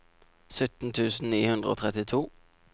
sytten tusen ni hundre og trettito